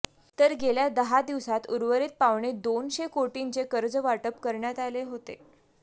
तर गेल्या दहा दिवसात उर्वरित पावणेदोनशे कोटींचे कर्जवाटप करण्यात आले होते